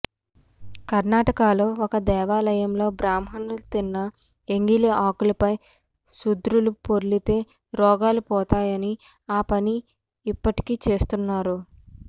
కర్ణాటకలో ఒక దేవాలయంలో బ్రాహ్మలు తిన్న ఎంగిలి ఆకులపై శూద్రులు పొర్లితే రోగాలు పోతాయని ఆ పని ఇప్పటికీ చేస్తున్నారు